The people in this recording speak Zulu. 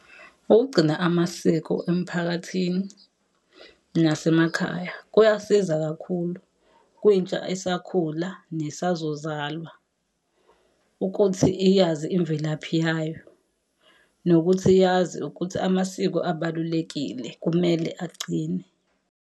Ukugcina amasiko emphakathini nasemakhaya, kuyasiza kakhulu kwintsha esakhula nesazozalwa ukuthi iyazi imvelaphi yayo, nokuthi yazi ukuthi amasiko abalulekile kumele agcine.